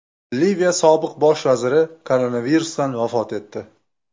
Liviya sobiq bosh vaziri koronavirusdan vafot etdi.